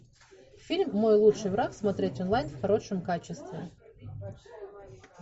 фильм мой лучший враг смотреть онлайн в хорошем качестве